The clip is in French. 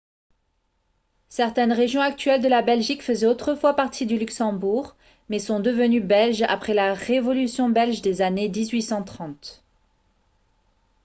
certaines régions actuelles de la belgique faisaient autrefois partie du luxembourg mais sont devenues belges après la révolution belge des années 1830